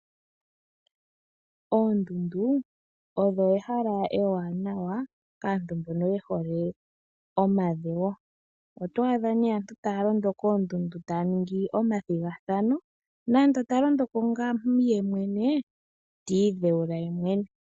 Oondundu odho ehala ewanawa kaantu mbono yehole omadhewo. Oto adha nee aantu taya londo koondundu taya ningi omathigathano nande talondoko ngaa yemwene ti idhewula ye mwene.